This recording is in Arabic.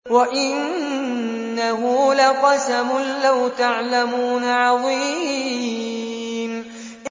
وَإِنَّهُ لَقَسَمٌ لَّوْ تَعْلَمُونَ عَظِيمٌ